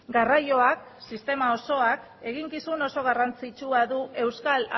garraioak sistema osoak eginkizun oso garrantzitsua du euskal